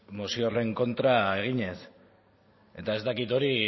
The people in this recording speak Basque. mozio horren kontra eginez eta ez dakit hori